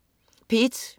P1: